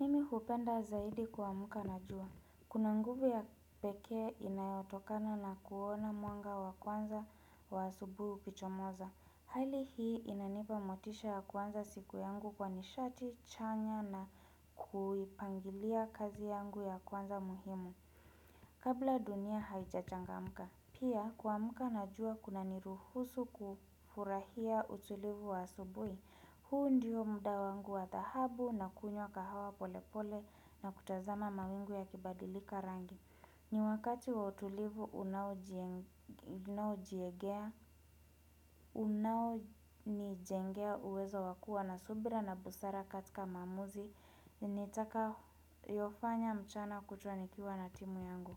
Mimi hupenda zaidi kuamka najua. Kuna nguvu ya pekee inayotokana na kuona mwanga wa kwanza wa asubuhi ukichomoza. Hali hii inanipa motisha ya kuanza siku yangu kwa nishati, chanya na kuipangilia kazi yangu ya kwanza muhimu. Kabla dunia haichachangamka. Pia, kuamka najua kuna niruhusu kufurahia utulivu wa asubuhi. Huu ndio muda wangu wadhahabu na kunywa kahawa polepole na kutazama mawingu ya kibadilika rangi. Ni wakati wa utulivu unao jiegea, unao nijengea uwezo wakua na subira na busara katika maamuzi. Nitakayofanya mchana kutwa nikiwa na timu yangu.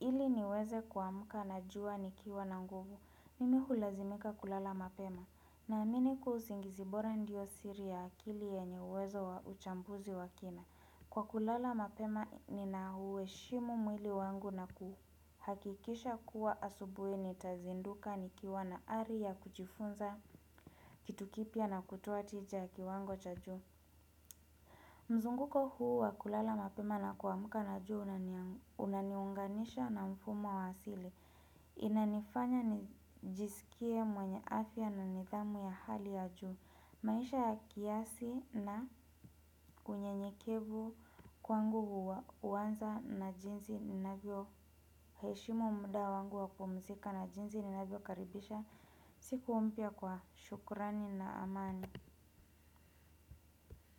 Ili niweze kuamka najua nikiwa na nguvu. Mimi hulazimika kulala mapema. Na amini kuwa usingizi bora ndio siri ya akili yenye uwezo wa uchambuzi wa kina. Kwa kulala mapema ni na uheshimu mwili wangu na kuhu. Hakikisha kuwa asubuhi ni tazinduka ni kiwa na ari ya kujifunza kitu kipya na kutoa tija kiwango cha juu. Mzunguko huu wa kulala mapema na kuamka najua una unaniunganisha na mfumo wa asili. Inanifanya nijisikie mwenye afya na nidhamu ya hali ya juu. Maisha ya kiasi na unyenyekevu kwangu huanza na jinsi ni navyo heshimu muda wangu wa kupumzika na jinsi ni navyo karibisha. Siku mpya kwa shukrani na amani.